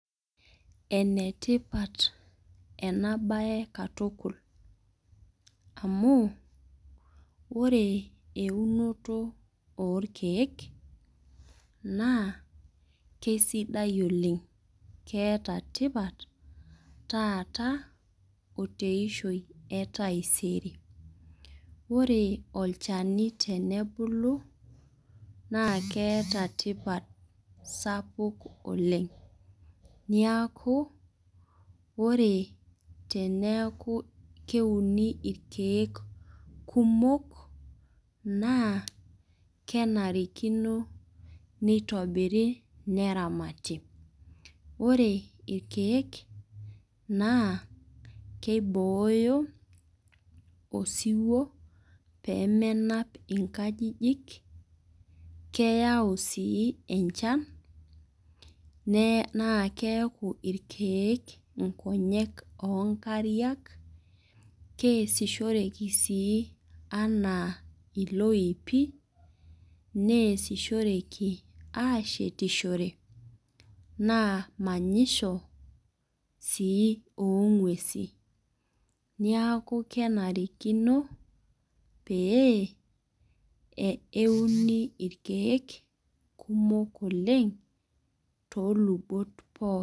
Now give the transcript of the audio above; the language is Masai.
ene tipat ena bae katukul, amu oree eunoto orkeeke, kisidai oleng. keeta tipat, taata oteshoi etaisere. ore olchani tenebulu naakeeta tioat sapuk oleng. neeku ore teneku keuni irkeek, kumok, naa kenarikino, neitobiri, neramati. ore irkeek, naa keibooyo osiwuo pee menap inakjijik. keyau sii enchan, naa keeku ireek inkonyek.oo nkariak keesisoreki sii anaa iloipi. neesishoreki aashetishore. naa manyisho sii oo nguesi. neku kenarikino pee euni irkeek kumok olelng too lubot pooki.